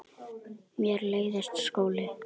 Mér leiðist skóli.